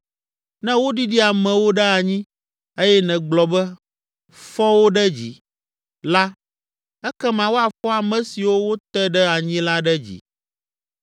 Ne woɖiɖi amewo ɖe anyi, eye nègblɔ be, ‘Fɔ wo ɖe dzi!’ la, ekema woafɔ ame siwo wote ɖe anyi la ɖe dzi.